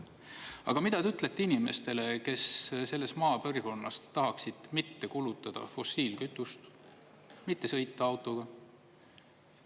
Aga mida te ütlete inimestele, kes selles maapiirkonnas tahaksid mitte kulutada fossiilkütust, mitte sõita autoga?